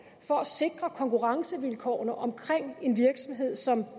for at sikre konkurrencevilkårene omkring en virksomhed som